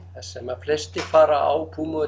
sem að flestir fara á